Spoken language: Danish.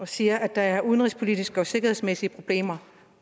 siger at der er udenrigspolitiske og sikkerhedsmæssige problemer